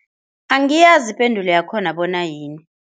Angiyazi ipendulo yakhona bona yini.